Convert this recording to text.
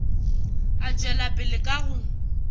a tšwela pele ka go